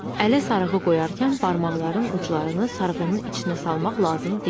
Ələ sarğı qoyarkən barmaqların uclarını sarğının içinə salmaq lazım deyil.